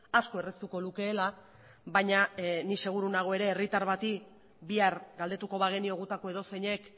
asko erraztuko lukeela baina ni seguru nago ere herritar bati bihar galdetuko bagenio gutako edozeinek